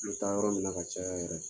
taa yɔrɔ min na ka caya yɛrɛ.